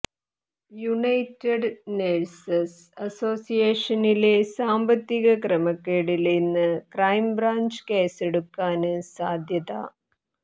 United nurses അസോസിയേഷനിലെ സാമ്പത്തിക ക്രമക്കേടില് ഇന്ന് ക്രൈം ബ്രാഞ്ച് കേസെടുക്കാന് സാധ്യത